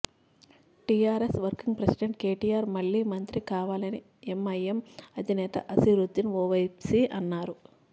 TRS working president KTR మళ్ళీ మంత్రి కావలని ఎంఐఎం అధినేత అసిదుద్దిన్ ఒవైసీ అన్నారు